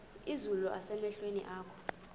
izulu nasemehlweni akho